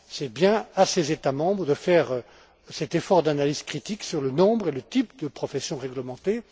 C'est bien à ces États membres de faire cet effort d'analyse critique sur le nombre et le type de professions réglementées.